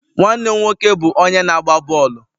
Nwanne m nwoke bụ onye na-agba bọọlụ.